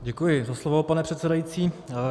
Děkuji za slovo, pane předsedající.